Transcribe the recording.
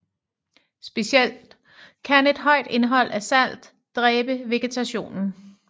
Specielt kan et højt indhold af salt dræbe vegetationen